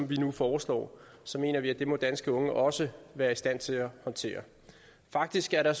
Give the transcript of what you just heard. vi nu foreslår så mener vi at det må danske unge også være i stand til at håndtere faktisk er der